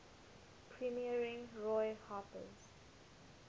premiering roy harper's